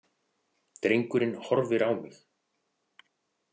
Drengurinn horfir á mig.